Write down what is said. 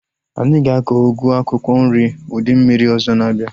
Anyị ga-akọ ugu akwụkwọ nri ụdị mmiri ọzọ na-abịa